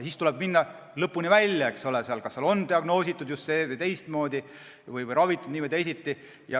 Siis tuleb minna lõpuni välja, eks ole, kas on diagnoositud nii- või teistmoodi või ravitud nii või teisiti.